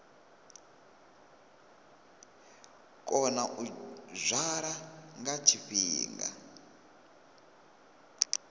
kona u dzwala nga tshifhinga